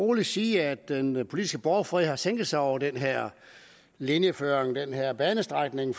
roligt sige at den politiske borgfred har sænket sig over den her linjeføring den her banestrækning